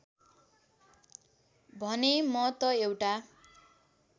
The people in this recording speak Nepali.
भने म त एउटा